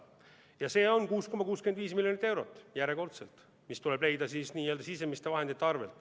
See on järjekordselt 6,65 miljonit eurot, mis tuleb leida n‑ö sisemiste vahendite arvel.